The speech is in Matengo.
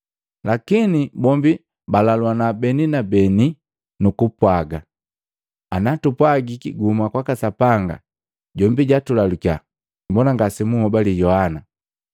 Lakini bombi balaluana beni kwa beni nukupwaga, “Ana tupwagiki guhuma kwaka Sapanga, jombi jatulalukya, mbona ngase munhobali Yohana?”